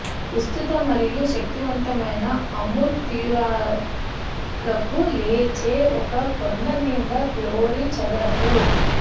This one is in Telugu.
విస్తృత మరియు శక్తివంతమైన అముర్ తీరాలకు లేచే ఒక కొండ మీద గ్లోరీ చదరపు